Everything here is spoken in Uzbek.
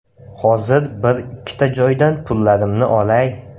Hozir bir-ikkita joydan pullarimni olay.